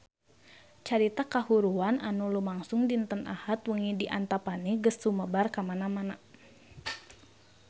Carita kahuruan anu lumangsung dinten Ahad wengi di Antapani geus sumebar kamana-mana